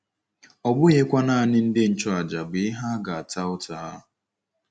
Ọ bụghịkwa nanị ndị nchụàjà bụ ihe a ga-ata ụta.